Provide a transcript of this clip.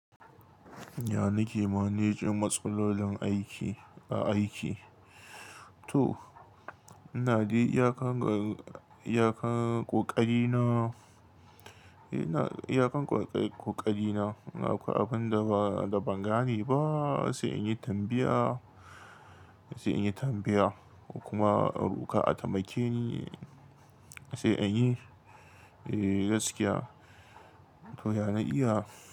Ya nake manejin matsalolin aiki a aiki? To ina dei iyakan, iyakan ƙoƙari na, iyakan ƙoƙari na, in akoi abun da ba, da ban gane ba sai in yi tambaya, sai in yi tambaya kuma a roƙa ataimake ni sai in yi gaskiya. To ya na iya.